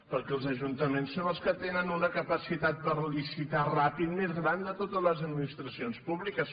perquè els ajuntaments són els que tenen una capacitat per licitar ràpidament més gran de totes les administracions públi·ques